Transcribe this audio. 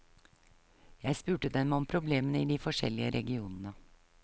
Jeg spurte dem om problemene i de forskjellige regionene.